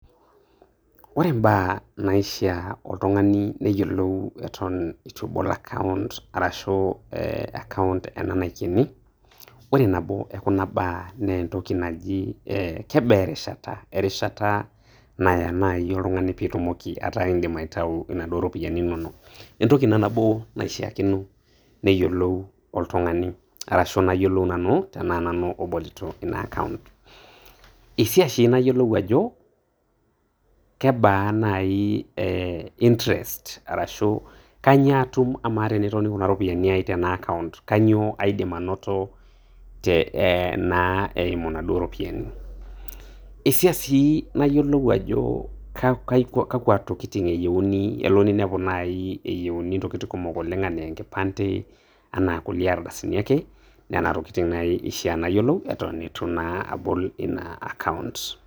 Ore mbaa naishia oltung'ani neyiolou eton eitu ebol account arashu eeh account ena naikeni, ore nabo ekuna baa naa entoki naji eeh kebaa erishata? erishata naya naaji oltung'ani piitumoki ataa indim aitayu inaduo ropiyiani inonok, entoki ina nabo naishiakino neyiolou oltung'anai arashu nayiolou nanu tenaa nanu obolito ina account. Eishia sii nayiolou ajo kebaa nai eeh interest arashu kainyoo atum, amaa tenetoni kuna ropiyiani ainei tena account kainyoo aidim anoto eimu naduo ropiyiani? Eishia sii nayiolou ajo kakua tokitin eyieuni, elo ninepu naaji eyieuni ntokitin kumok anaa enkipande, anaa kulie ardasini ake. Nena tokitin naaji eshia nayiolou eton eitu naa abol ina account.